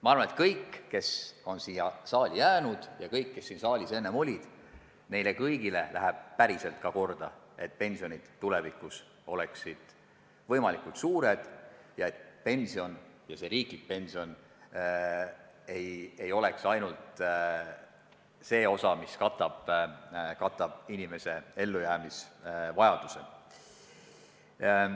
Ma arvan, et kõigile, kes on siia saali jäänud, ja kõigile, kes siin enne olid, läheb päriselt ka korda, et pensionid oleksid tulevikus võimalikult suured, et riiklik pension ei oleks ainult nii suur, et tagab inimese ellujäämise.